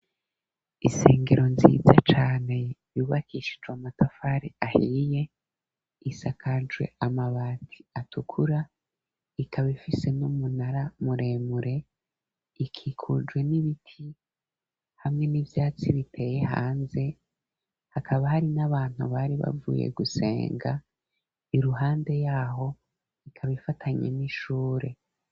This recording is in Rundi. Isengero nziza cane, ryubakishijwe amatafari ahiye, isakajwe amabati atukura ikaba ifise n'umunara muremure, ikikujwe n'ibiti hamwe n'ivyatsi biteye hanze hakaba hari n'abantu bari bavuye gusenga, iruhande yaho ikaba ifatanye n'ishure.